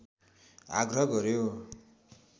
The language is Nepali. आग्रह गर्‍यो